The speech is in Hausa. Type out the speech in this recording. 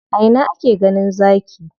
A ina ake ganin Zaki?